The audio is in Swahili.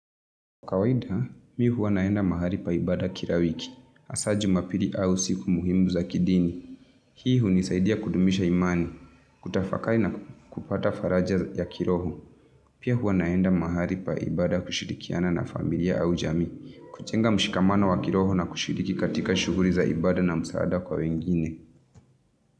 Kawaida, mi huwa naenda mahali pa ibada kila wiki. Hasa Jumapili au siku muhimu za kidini. Hii hunisaidia kudumisha imani, kutafakari na kupata faraja ya kiroho. Pia huwa naenda mahali pa ibada kushirikiana na familia au jamii, kujenga mshikamano wa kiroho na kushiriki katika shughuli za ibada na msaada kwa wengine.